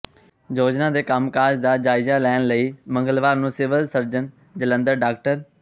ਯੋਜਨਾ ਦੇ ਕੰਮਕਾਜ ਦਾ ਜਾਇਜ਼ਾ ਲੈਣ ਦੇ ਲਈ ਮੰਗਲਵਾਰ ਨੂੰ ਸਿਵਲ ਸਰਜਨ ਜਲੰਧਰ ਡਾ